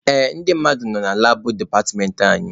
Ee, ndị mmadụ nọ na labụ departmentị anyị.